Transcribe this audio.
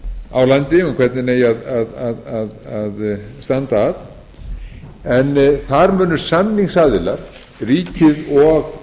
á landi um hvernig eigi að standa að en þar munu samningsaðilar ríkið og